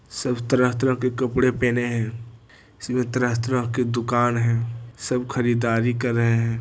सब तरह-तरह के कपड़े पहने है सब तरह-तरह के दुकान है सब खरीद दारी कर रहे है।